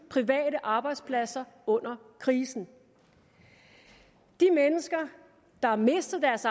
private arbejdspladser under krisen de mennesker der har mistet deres